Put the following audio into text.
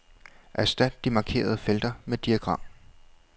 Erstat de markerede felter med diagram.